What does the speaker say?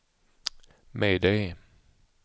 mayday